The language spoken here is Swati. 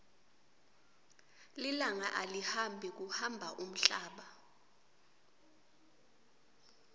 lilanga alihambi kuhamba umhlaba